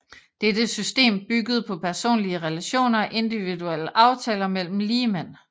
Dette system byggede på personlige relationer og individuelle aftaler mellem ligemænd